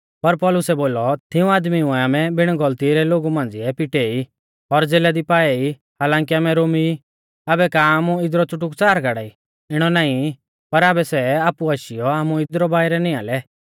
पर पौलुसै बोलौ तिऊं आदमीउऐ आमै बिण गौलती रै लोगु मांझ़िऐ पिटे ई और ज़ेला दी पाऐ ई हालांकी आमै रोमी ई आबै का आमु इदरु च़ुटुकच़ार गाड़ाई इणौ नाईं पर आबै सै आपु आशीयौ आमु इदरु बाइरै निआं लै